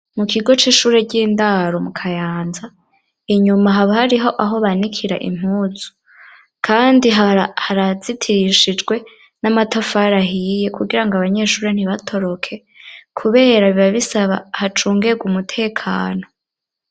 Mu kigo c'ishure ryindaro mu Kayanza inyuma haba hariho aho banikira impuzu kandi harazitirishijwe n'amatafari ahiye kugira ngo abanyeshuri ntibatoroke kubera biba bisaba hacungegwe umutekano.